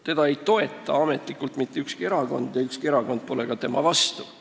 Seda ei toeta ametlikult mitte ükski erakond ja ükski erakond pole ka selle vastu.